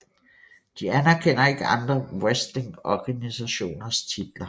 De anerkender ikke andre wrestlingorganisationers titler